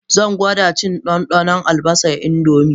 Zan gwada cin ɗanɗanon albasar indomie